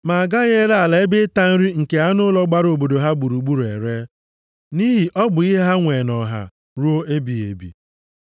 Ma a gaghị ere ala ebe ịta nri nke anụ ụlọ gbara obodo ha gburugburu ere, nʼihi ọ bụ ihe ha nwee nʼọha ruo ebighị ebi.